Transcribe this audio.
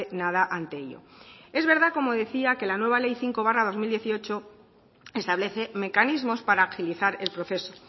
nada ante ello es verdad como decía que la nueva ley cinco barra dos mil dieciocho establece mecanismos para agilizar el proceso